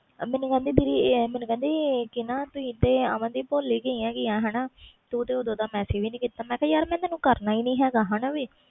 ਮੈਨੂੰ ਕਹਿੰਦੀ ਤੁਸੀ ਤੇ ਮਨਦੀਪ ਭੁੱਲ ਹੀ ਗਈਆਂ ਹਾਣਾ ਤੂੰ ਤੇ ਓਦੋ ਦਾ messages ਹੀ ਨਹੀਂ ਕੀਤਾ ਮੈਂ ਕਿਹਾ ਯਾਰ ਮੈਂ ਤੈਨੂੰ ਕਰਨਾ ਹੀ ਨਹੀਂ ਹੈਗਾ